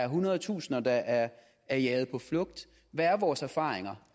hundredetusinder er er jaget på flugt hvad er vores erfaringer